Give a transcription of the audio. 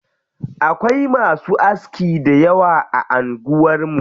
Akwai masu aski dayawa a anguwar mu.